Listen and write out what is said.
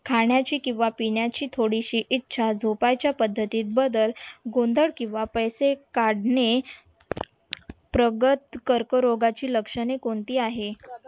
खाण्याची किंवा पिण्याची थोडीशी इच्छा जोपायच्या पद्धतीत बदल गोंदळ किंवा पैसे काढणे प्रगत कर्करोगाची लक्षणे कोणती आहेत?